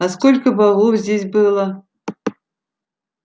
а сколько богов здесь было